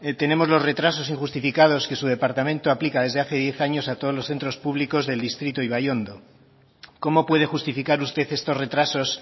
tenemos los retrasos injustificados que su departamento aplica desde hace diez años a todos los centros públicos del distrito ibaiondo cómo puede justificar usted estos retrasos